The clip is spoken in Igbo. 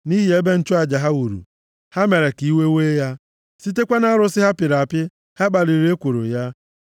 Nʼihi ebe nchụaja ha wuru, ha mere ka iwe wee ya; sitekwa nʼarụsị ha pịrị apị, ha kpaliri ekworo ya.